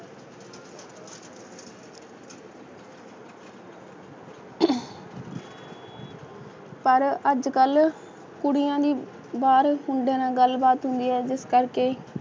ਪਰ ਅੱਜ ਕੱਲ ਕੁੜੀਆਂ ਦੀ ਵਾਰ ਉਹਦੇ ਨਾਲ ਗੱਲ ਬਾਤ ਹੁੰਦੀ ਹੈ ਜਿਸ ਕਰਕੇ